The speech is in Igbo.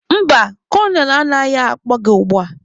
Mba, kolonel anaghị akpọ gị ugbua.